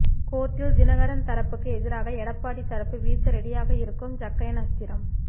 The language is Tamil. கோர்ட்டில் தினகரன் தரப்புக்கு எதிராக எடப்பாடி தரப்பு வீச ரெடியாக இருக்கும் ஜக்கையன் அஸ்திரம்